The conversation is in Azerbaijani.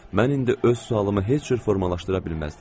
Mən indi öz sualımı heç cür formalaşdıra bilməzdim.